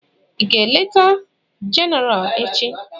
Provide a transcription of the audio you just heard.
Ị ga-eleta Jenéral echi?